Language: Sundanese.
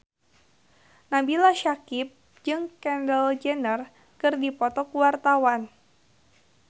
Nabila Syakieb jeung Kendall Jenner keur dipoto ku wartawan